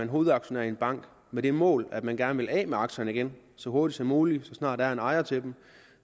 hovedaktionær i en bank med det mål at man gerne vil af med aktierne igen så hurtigt som muligt så snart der er en ejer til dem